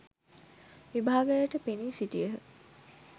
විභාගයට පෙනී සිටියහ.